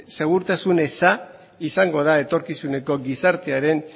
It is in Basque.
segurtasun eza izango da etorkizuneko gizartearen